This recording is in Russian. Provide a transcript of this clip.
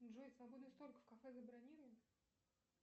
джой свободный столик в кафе забронируй